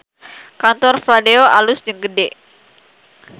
Kantor Fladeo alus jeung gede